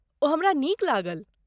ओ हमरा नीक लागल।